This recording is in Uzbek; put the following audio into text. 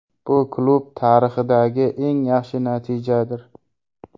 Bu klub tarixidagi eng yaxshi natijadir.